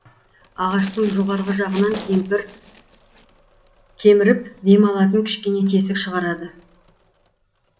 ағаштың жоғарғы жағынан кеміріп дем алатын кішкене тесік шығарады